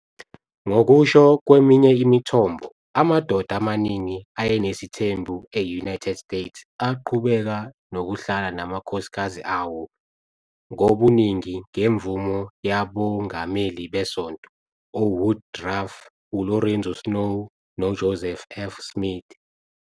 Ngokusho kweminye imithombo, amadoda amaningi ayenesithembu e-United States aqhubeka nokuhlala namakhosikazi awo ngobuningi ngemvume yabongameli besonto uWoodruff, uLorenzo Snow noJoseph F. Smith.